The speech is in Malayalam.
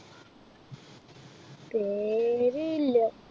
പേ~ര് ഇല്ല.